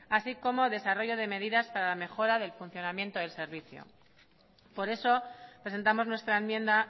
así como desarrollo de medidas para la mejora del funcionamiento del servicio por eso presentamos nuestra enmienda